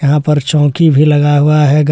यहां पर चौकी भी लगाया हुआ है--